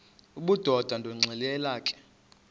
obudoda ndonixelela ke